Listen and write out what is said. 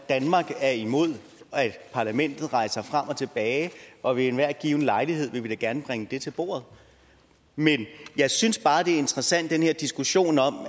danmark er imod at parlamentet rejser frem og tilbage og ved enhver given lejlighed vil vi da gerne vil bringe det til bordet men jeg synes bare det er interessant med den her diskussion